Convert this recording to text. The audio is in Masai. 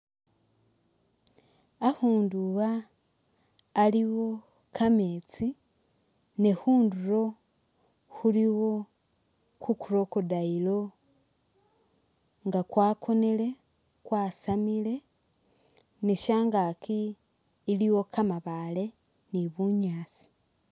Akhundu aah aliwo kameetsi ne khundulo khulikho ku'crocodile nga kwakonile kwasamile neshangaki iliwo kamabaale ni bunyaasi